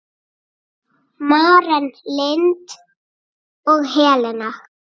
Maren Lind og Helena.